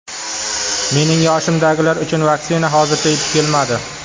Mening yoshimdagilar uchun vaksina hozircha yetib kelmadi.